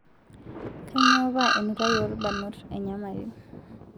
Kainyoo paa enutai oo lbarnot enyamali?